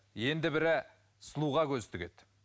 енді бірі сұлуға көз тігеді